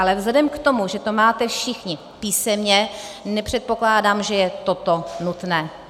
Ale vzhledem k tomu, že to máte všichni písemně, nepředpokládám, že je toto nutné.